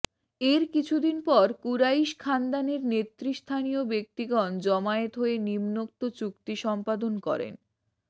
এর কিছু দিন পর কুরাইশ খান্দানের নেতৃস্থানীয় ব্যক্তিগন জমায়েত হয়ে নিম্নোক্ত চুক্তি সম্পাদন করেনঃ